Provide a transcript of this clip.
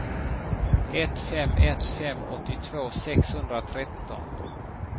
ett fem ett fem åttiotvå sexhundratretton